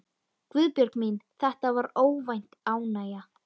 Guðbjörg mín, þetta var óvænt ánægja.